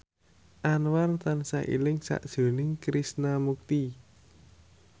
Anwar tansah eling sakjroning Krishna Mukti